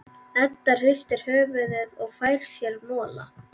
Edda hristir höfuðið og fær sér mola.